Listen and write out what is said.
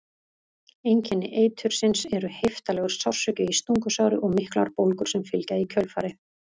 Einkenni eitursins eru heiftarlegur sársauki í stungusári og miklar bólgur sem fylgja í kjölfarið.